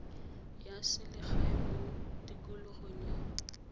ya selegae mo tikologong ya